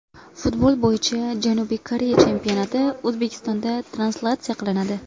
Futbol bo‘yicha Janubiy Koreya chempionati O‘zbekistonda translyatsiya qilinadi.